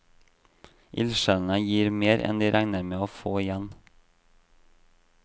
Ildsjelene gir mer enn de regner med å få igjen.